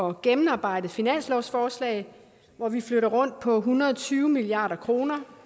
og gennemarbejdet finanslovsforslag hvor vi flytter rundt på en hundrede og tyve milliard kroner